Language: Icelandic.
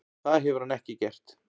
Það hefur hann ekki gert.